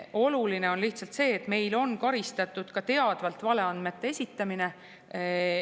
Oluline on lihtsalt see, et meil on karistatud ka teadvalt valeandmete esitamine.